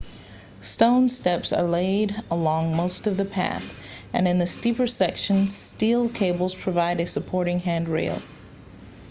stone steps are laid along most of the path and in the steeper sections steel cables provide a supporting handrail